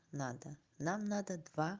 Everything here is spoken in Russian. надо нам надо два